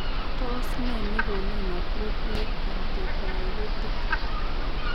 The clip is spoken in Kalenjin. Tos nee negonu inappropriate antidiuretic ?